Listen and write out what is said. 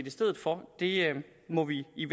i stedet for må vi i